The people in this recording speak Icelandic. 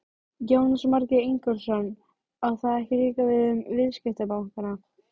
Jónas Margeir Ingólfsson: Á það ekki líka við um viðskiptabankana?